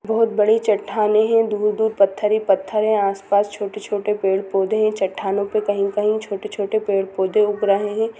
बहुत बड़े चट्टाने है दूर -दूर पत्थर ही पत्थर है आस पास छोटे - छोटे पेड़ - पौधे है चट्टानों पर कही - कही छोटे -छोटे पेड़ -पौधे उग रहे हैं।